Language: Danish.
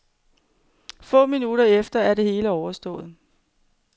Få minutter efter er det hele overstået.